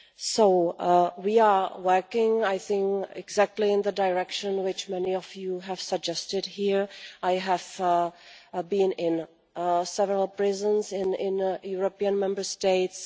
So we are working, I think, exactly in the direction which many of you have suggested here. I have been in several prisons in European Member States.